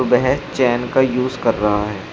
वह चैन का यूज कर रहा है।